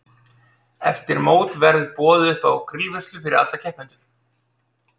Eftir mót verður boðið uppá grillveislu fyrir alla keppendur.